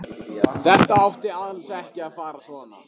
Þetta átti alls ekki að fara svona.